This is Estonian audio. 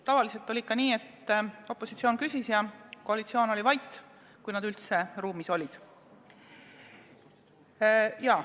Tavaliselt oli nii, et opositsioon küsis ja koalitsioon oli vait, kui koalitsiooni liikmed üldse ruumis olidki.